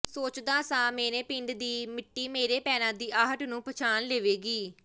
ਸੋਚਦਾ ਸਾਂ ਮੇਰੇ ਪਿੰਡ ਦੀ ਮਿੱਟੀ ਮੇਰੇ ਪੈਰਾਂ ਦੀ ਆਹਟ ਨੂੰ ਪਛਾਣ ਲਵੇਗੀ